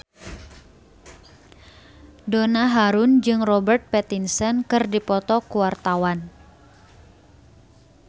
Donna Harun jeung Robert Pattinson keur dipoto ku wartawan